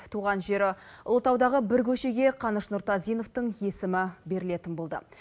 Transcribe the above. туған жері ұлытаудағы бір көшеге қаныш нұртазиновтың есімі берілетін болды